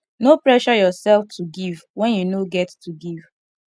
no pressure yourself to give when you no get to give